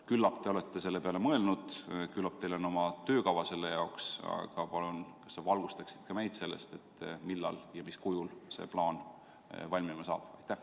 Küllap te olete selle peale mõelnud ja küllap teil on oma töökava selle jaoks, aga palun, kas sa valgustaksid ka meid sellest, millal ja mis kujul see plaan valmib?